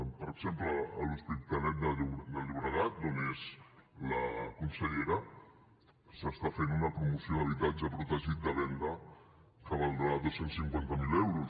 per exemple a l’hospitalet de llobregat d’on és la consellera s’està fent una promoció d’habitatge protegit de venda que valdrà dos cents i cinquanta miler euros